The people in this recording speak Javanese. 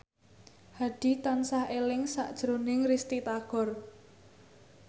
Hadi tansah eling sakjroning Risty Tagor